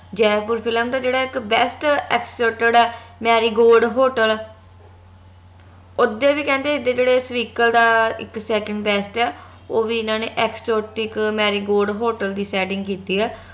Jaipur film ਦਾ ਜਿਹੜਾ ਇਕ best ਆ marigold hotel ਉਸ ਦੇ ਵੀ ਕਹਿੰਦੇ ਜੇਹੜੇ ਦਾ ਇਕ second test ਆ ਓਹ ਵੀ ਏਨਾ ਨੇ marigold hotel ਦੀ setting ਕੀਤੀ ਆ